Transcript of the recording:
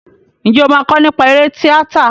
Ǹjẹ́ o máa kọ nípa eré tíátà?